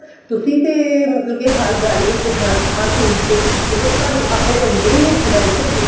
ਤੁਸੀਂ ਤੇ ਮਤਲਬ ਹਰ ਗੱਲ ਵਿੱਚ ਹਰ ਚੀਜ਼ ਚ ਮਤਲਬ ਕੇ ਤੁਹਾਨੂੰ ਆਪਣੇ ਅੰਦਰੋਂ ਹੀ ਉੱਠਦਾ ਏ ਨਾ ਇਹ